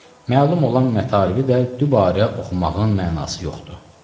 Məlum olan mətalibi də dübarə oxumağın mənası yoxdur.